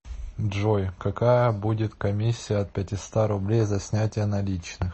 джой какая будет комиссия от пятиста рублей за снятия наличных